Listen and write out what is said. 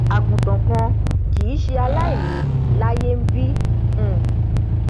àgùntàn kan kìí ṣe aláìní láyé nbí um